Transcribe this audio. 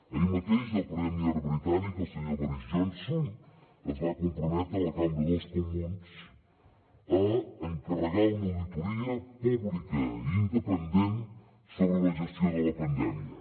ahir mateix el premier britànic el senyor boris johnson es va comprometre a la cambra dels comuns a encarregar una auditoria pública i independent sobre la gestió de la pandèmia